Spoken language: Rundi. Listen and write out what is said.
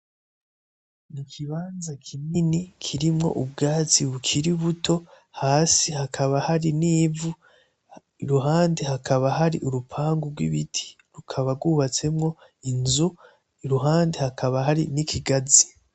Ikibanza kinini kiriimwo ubwatsi bukiri buto, hasi hakaba hari n'ivu. Iruhande hakaba hari urupangu rw'ibiti rukaba rwubatsemwo inzu biruhande hakaba hari n'ikigazi